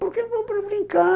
Por que vamos brincar...